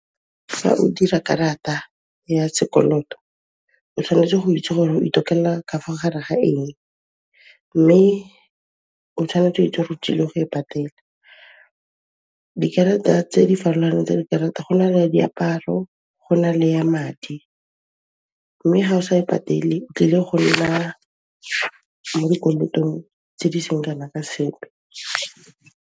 Fa o dira karata ya sekoloto, o tshwanetse go itse gore o itokella ka fo gare ga eng mme o tshwanetse wa itse gore o tsile go e patela. Dikarata tse di farologaneng tsa di karata, go na le ya diaparo, go na le ya madi mme ga o sa e patele o tlile go nna mo dikolotong tse di seng kana ka sepe.